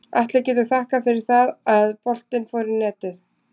Atli getur þakkað fyrir það að boltinn fór í netið.